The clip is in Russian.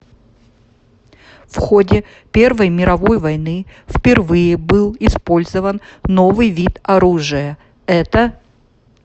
в ходе первой мировой войны впервые был использован новый вид оружия это